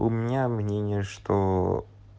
у меня мнение что